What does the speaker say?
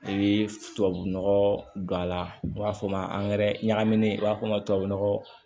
I bɛ tubabunɔgɔ don a la u b'a fɔ o ma angɛrɛ ɲagaminen i b'a fɔ tubabu nɔgɔ